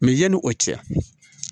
Mɛ yanni o cɛ